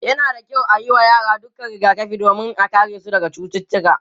yana da kyau ayi wa yara dukkan rigakafi domin ya karesu daga cututtuka